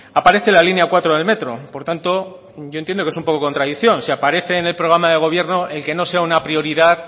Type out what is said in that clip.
aparece la línea cuatro del metro por tanto yo entiendo que es un poco contradicción si aparece en el programa de gobierno el que no sea una prioridad